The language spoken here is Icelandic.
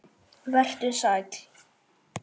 Vertu sæll.